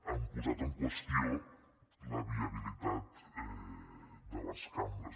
han posat en qüestió la viabilitat de les cambres